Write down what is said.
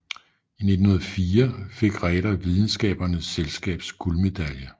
I 1904 fik Ræder Videnskabernes Selskabs guldmedalje